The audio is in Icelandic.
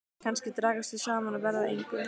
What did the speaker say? Kannski dragast þau saman og verða að engu.